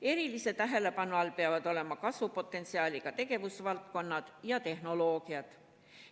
Erilise tähelepanu all peavad olema kasvupotentsiaaliga tegevusvaldkonnad ja tehnoloogiad.